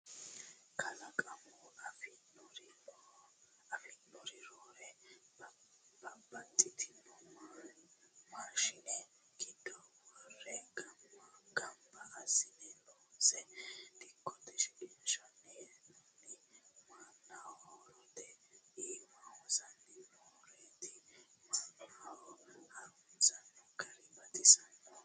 Kalaqamunni affi'nanirinni roore babbaxxitino mashine giddo wore gamba assine loonse dikkote shiqinshanni hee'nonniri mannaho horote iima hosanni nooreti mannuno harunsano gari baxxinoho.